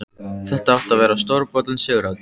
Þetta átti að verða stórbrotin sigurhátíð!